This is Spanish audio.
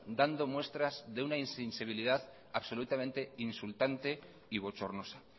dando muestras de una insensibilidad absolutamente insultante y bochornosa